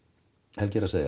Helgi er að segja